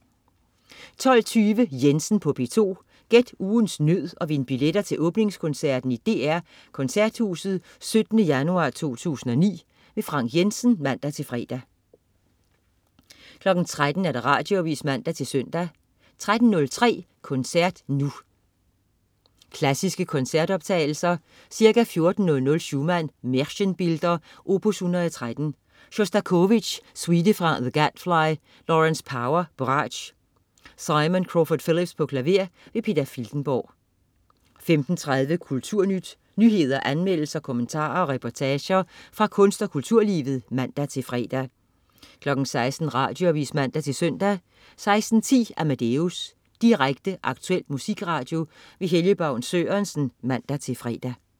12.20 Jensen på P2. Gæt ugens nød og vind billetter til åbningskoncerten i DR Koncerthuset 17. januar 2009. Frank Jensen (man-fre) 13.00 Radioavis (man-søn) 13.03 Koncert Nu. Klassiske koncertoptagelser. Ca. 14.00 Schumann: Märchenbilder, opus 113. Sjostakovitj: Suite fra The Gadfly. Lawrence Power, bratsch. Simon Crawford-Phillips, klaver. Peter Filtenborg 15.30 Kulturnyt. Nyheder, anmeldelser, kommentarer og reportager fra kunst- og kulturlivet (man-fre) 16.00 Radioavis (man-søn) 16.10 Amadeus. Direkte, aktuel musikradio. Helge Baun Sørensen (man-fre)